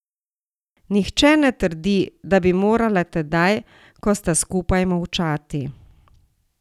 Nihče ne trdi, da bi morala tedaj, ko sta skupaj, molčati.